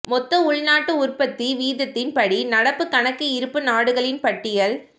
மொத்த உள்நாட்டு உற்பத்தி வீதத்தின்படி நடப்புக் கணக்கு இருப்பு நாடுகளின் பட்டியல்